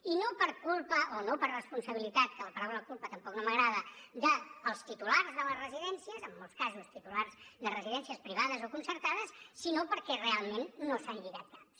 i no per culpa o no per responsabilitat que la paraula culpa tampoc no m’agrada dels titulars de les residències en molts casos titulars de residències privades o concertades sinó perquè realment no s’han lligat caps